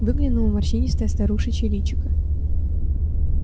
выглянуло морщинистое старушечье личико